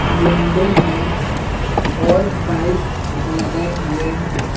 Window है और bike लगे हुए हैं।